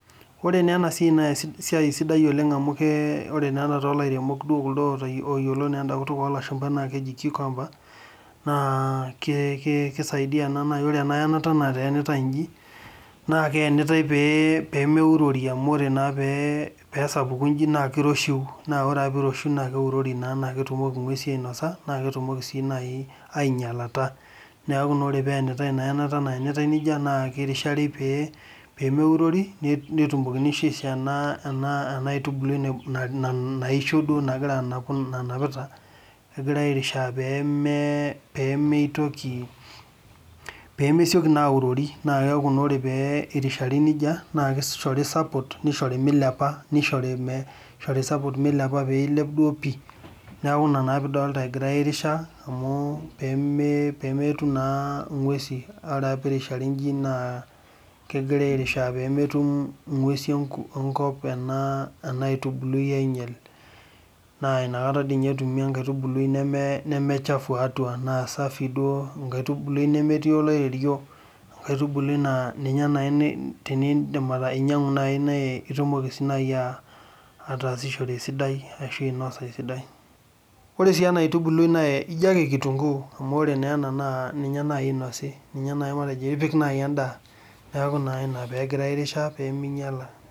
Ore naa ena siai naa esiai sidai oleng' amu ore naa ena toolairemok oyiolo enda kutok oolashumba naa keji cucumber naa kesaidia ore ena yanata nayanitai inji naa keyanitai pee meurori amu ore naa peesapuku inji naa kiroshiu. Naa ore ake peeiroshiu naa keurori naa naaketumoki inkuesi ainosa naa ketumoki sii naaji ainyialata. Neeku naa ore pee eyanitai ina yanata nayanitai nejia naa kirishari peemeurori netumokini sii aishoo ena aitubului naisho egirai airishaa peemetoiki peemesioki naa aurori, naa keeku naa ore pee irishari nejia naa kishori support milepa nishori support pee ilep duo pii. Neeku ina naa pee idolita egirai airishaa amu peemetum naa inkuesi ore pee irishari inji naakeji peemetum inkusin enkop ena aitubului ainyiel naa nakata dii ninye etumi enkaitubului nemechafu atua enkaitubului duo nemetii oloiterio, enkaitubului naa ninye iidim ainyiangu nitumoki sii naaji ataasisho esidai ashuu ainosa esidai.